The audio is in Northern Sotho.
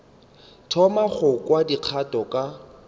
thoma go kwa dikgato ka